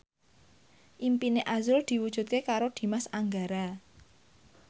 impine azrul diwujudke karo Dimas Anggara